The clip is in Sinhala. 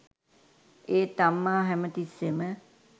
ඒත් අම්මා හැමතිස්සෙම